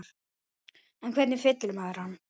En hvernig fyllir maður hann?